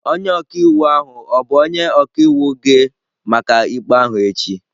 Onye ọka iwu ahụ ọ bụ onye ọka iwu gị maka ikpe ahụ echi?